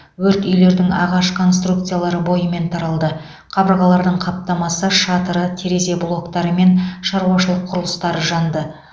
өрт үйлердің ағаш конструкциялары бойымен таралды қабырғалардың қаптамасы шатыры терезе блоктары мен шаруашылық құрылыстары жанды